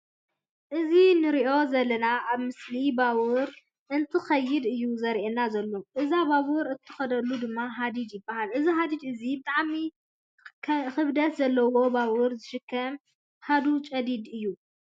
እዚ እንሪኦ ዘለና ኣብ ምስሊ ባቡር እንትከይድ እዩ ዝረአየና ዘሎ። እዛ ባቡር እትከደሉ ድማ ሃዲድ ይባሃል። እዚ ሃዲድ እዚ ብጣዕሚ ክበደት ዘለዋ ባቡር ዝሽከም ሃዱጨዲድ እዩ።